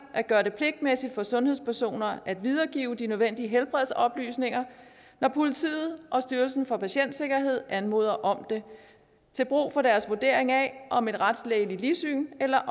at gøre det pligtmæssigt for sundhedspersoner at videregive de nødvendige helbredsoplysninger når politiet og styrelsen for patientsikkerhed anmoder om det til brug for deres vurdering af om et retslægeligt ligsyn eller